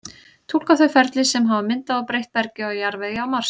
túlka þau ferli sem hafa myndað og breytt bergi og jarðvegi á mars